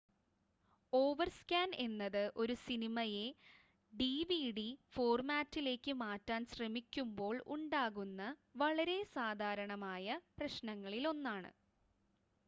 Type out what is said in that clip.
overscan എന്നത് ഒരു സിനിമയെ ഡിവിഡി ഫോർമാറ്റിലേക്ക് മാറ്റാൻ ശ്രമിക്കുമ്പോൾ ഉണ്ടാകുന്ന വളരെ സാധാരണമായ പ്രശ്നങ്ങളിലൊന്നാണ്